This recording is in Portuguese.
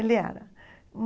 Ele era.